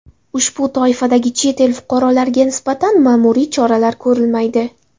Ushbu toifadagi chet el fuqarolariga nisbatan ma’muriy choralar ko‘rilmaydi.